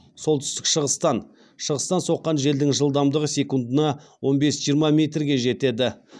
солтүстік шығыстан шығыстан соққан желдің жылдамдығы секундына он бес жиырма метрге жетеді